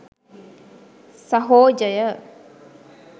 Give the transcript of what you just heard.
සහොජය